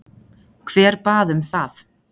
Hver bað um það?